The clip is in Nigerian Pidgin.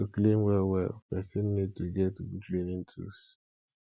to clean well well person need to get good cleaning tools